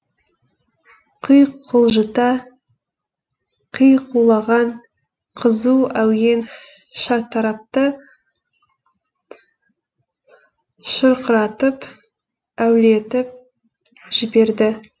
құйқылжыта қиқулаған қызу әуен шартарапты шырқыратып әуелетіп жіберді